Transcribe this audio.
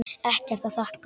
Ekkert að þakka